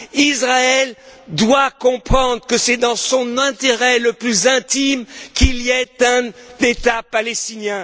Israël ne comprendra pas que c'est dans son intérêt le plus intime qu'il y ait un État palestinien.